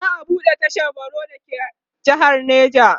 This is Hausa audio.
za'a buɗe tashar baro da ke jehar neja